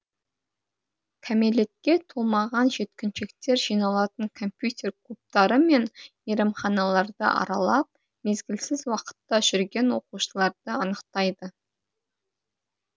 кәмелетке толмаған жеткіншектер жиналатын компьютер клубтары мен мейрамханаларды аралап мезгілсіз уақытта жүрген оқушыларды анықтайды